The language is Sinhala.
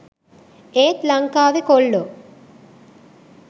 ඒත් ලංකාවේ කොල්ලෝ